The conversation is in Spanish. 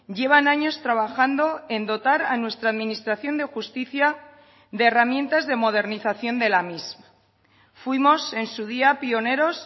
llevan años trabajando en dotar a nuestra administración de justicia de herramientas de modernización de la misma fuimos en su día pioneros